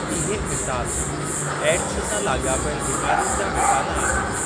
इहे मिसाल एडस सां लाॻापियल बीमारियुनि जा मिसाल आहिनि।